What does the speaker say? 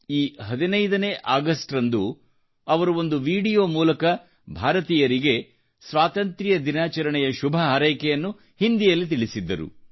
ಈ 15ನೇ ಆಗಸ್ಟ್ರಂದು ಅವರು ಒಂದು ವೀಡಿಯೋ ಮೂಲಕ ಭಾರತೀಯರಿಗೆ ಸ್ವಾತಂತ್ರ್ಯ ದಿನಾಚರಣೆಯ ಶುಭಹಾರೈಕೆಯನ್ನು ಹಿಂದಿಯಲ್ಲಿ ತಿಳಿಸಿದ್ದರು